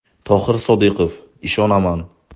Tohir Sodiqov: Ishonaman.